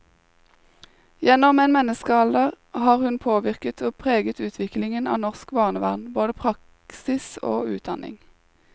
Gjennom en menneskealder har hun påvirket og preget utviklingen av norsk barnevern, både praksis og utdanning.